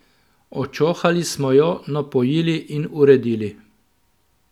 Očohali smo jo, napojili in uredili.